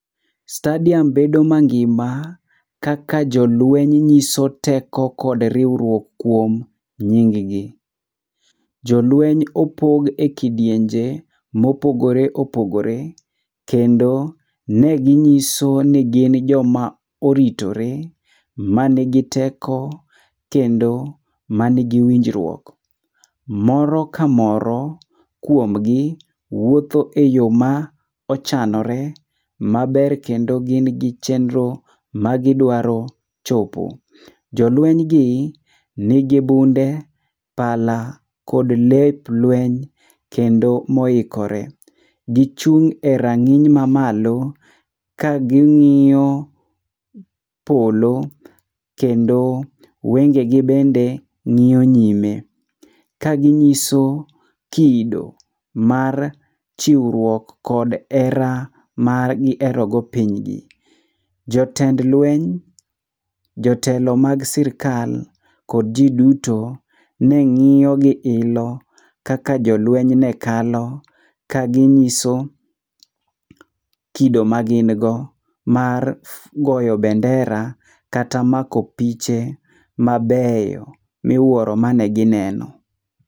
Stadium bedo mangima, kaka jolueny nyiso teko kod riwruok kuom nying gi. Jolueny opog e kidienje mopogore opogore, kendo ne ginyiso ni gin joma oritore, man gi teko kendo man gi winjruok. Moro ka moro kuom gi, wuoth e yo ma ochanore maber kendo gin gi chenro ma gidwaro chopo. Jolueny gi nigi bunde, pala kod lep lueny kendo moikore. Gichung' e rang'iny mamalo ka ging'iyo polo kendo wengegi bende ng'iyo nyime. Ka ginyiso kido mar chiwruok kod hera ma giherogo pinygi. Jotend lweny, jotelo mag sirkal, kod ji duto ne ng'iyo gi ilo kaka jolweny ne kalo, ka ginyiso kido ma gin go mar goyo bendera, kata mako piche mabeyo miwuoro mane gineno.